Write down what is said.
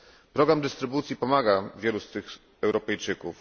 Program dystrybucji pomaga wielu z tych Europejczyków.